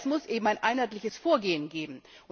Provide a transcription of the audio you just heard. Aber es muss eben ein einheitliches Vorgehen geben.